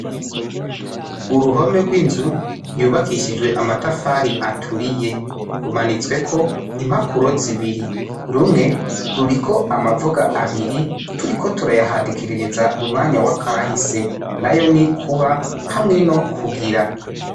Uruhome rw'inzu yubakishijwe amatafari aturiye. Rumanitsweko impapuro zibiri. Rumwe ruriko amavuga abiri, turiko turayahadikiriza mu mwanya wa kahise. N'ayo ni : kuba hamwe, no kugira.